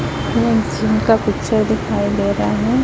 यह जिम का पिक्चर दिखाई दे रहा है।